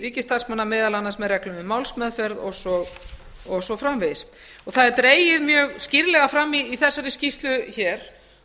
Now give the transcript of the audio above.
ríkisstarfsmanna meðal annars með reglum um málsmeðferð og svo framvegis það er dregið mjög skýrlega fram í þessari skýrslu hér